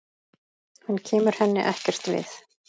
Hann kemur henni ekkert við.